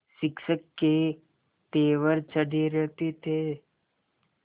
शिक्षक के तेवर चढ़े रहते थे